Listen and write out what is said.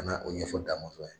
o ɲɛfɔ Damɔzɔn ye.